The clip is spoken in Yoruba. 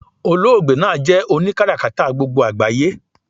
Oloogbe naa jé̩ oni karakata gbogbo àgbáyé